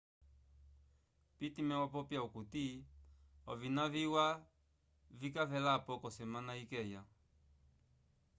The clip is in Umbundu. pittman wapopya okuti ovina viwa vika velapo k'osemana ikeya